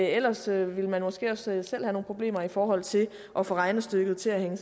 ellers ville man måske også selv have nogle problemer i forhold til at få regnestykket til at hænge